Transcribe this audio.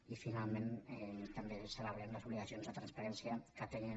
i finalment també celebrem les obligacions de transparència que atenyen